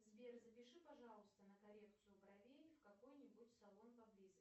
сбер запиши пожалуйста на коррекцию бровей в какой нибудь салон поблизости